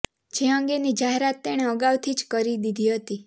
જે અંગેની જાહેરાત તેણે અગાઉથી જ કરી દીધી હતી